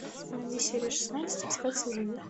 найди серию шестнадцать остаться в живых